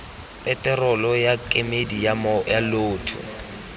peterolo ya kemedi ya lloto